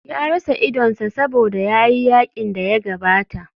Ya rasa idonsa saboda ya yi yakin da ya gabata.